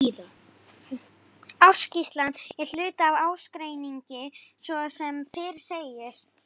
Ársskýrslan er hluti af ársreikningi svo sem fyrr segir.